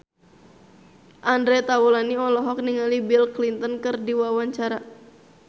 Andre Taulany olohok ningali Bill Clinton keur diwawancara